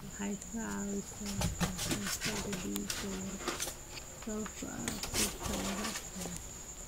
Waxay ka caawisaa ka hortagga dhiig-yarida sababtoo ah birta laga helo.